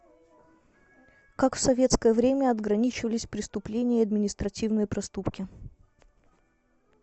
как в советское время отграничивались преступления и административные проступки